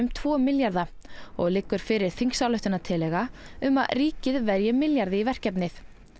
tvo milljarða og liggur fyrir þingsályktunartillaga um að ríkið verji milljarði í verkefnið